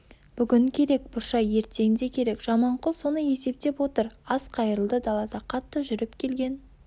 бүгін керек бұршай ертең де керек жаманқұл соны есептеп отыр ас қайырылды далада қатты жүріп келген